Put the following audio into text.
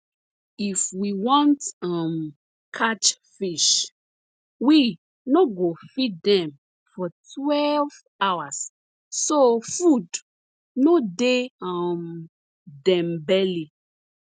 if we want um catch fish we no go feed dem for twelve hours so food no dey um dem belly